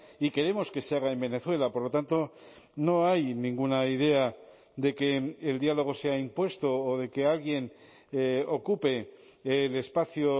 y queremos que se haga en venezuela por lo tanto no hay ninguna idea de que el diálogo sea impuesto o de que alguien ocupe el espacio